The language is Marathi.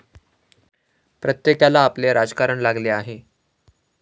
प्रत्येकाला आपले राजकारण लागले आहे.